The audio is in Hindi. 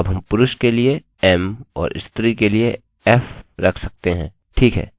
अब हम पुरुष के लिए m और स्त्री के लिए f रख सकते हैं